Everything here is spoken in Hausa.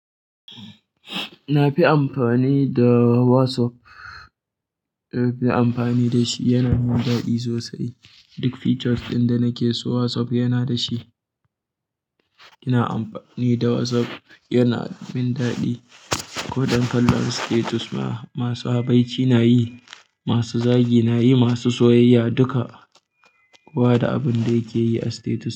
Na fi amfani da WhatsApp, na fi amfani da shi. Yana min daɗi sosai. Duk features ɗin da nake so WhatsApp yana da shi. Ina amfani da WhatsApp, yana min daɗi. Ko don kallon status ma. Masu habaici na yi, masu zagi na yi, masu soyayya, duka. Kowa da abin da yake yi a status.